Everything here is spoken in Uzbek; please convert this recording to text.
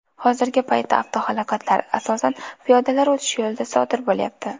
Hozirgi paytda avtohalokatlar, asosan, piyodalar o‘tish yo‘lida sodir bo‘lyapti.